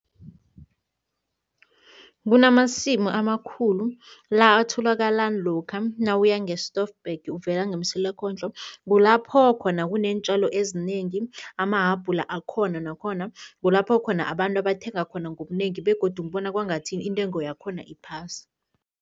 Kunamasimu amakhulu la atholakala lokha nawuya nge-Stoffberg uvela ngeMsilakondlo, kulapho khona kuneentjalo ezinengi, amahabhula akhona nakhona. Kulapho khona abantu abathenga khona ngobunengi begodu ngibona kwangathi intengo yakhona iphasi.